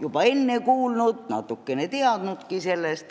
juba enne kuulnud, natukene teadnud sellest.